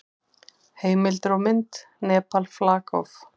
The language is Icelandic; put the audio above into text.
Heimildir og mynd: Nepal, flag of.